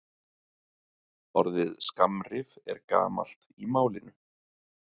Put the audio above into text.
Orðið skammrif er gamalt í málinu.